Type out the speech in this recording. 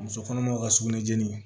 Muso kɔnɔmaw ka sugunɛ jeni